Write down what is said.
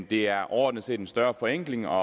det er overordnet set en større forenkling og